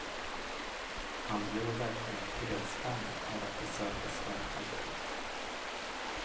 Man blir verkligen fredsvän av att besöka slagfälten.